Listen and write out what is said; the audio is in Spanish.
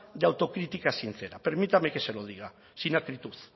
de autocrítica sincera permítame que se lo diga sin acritud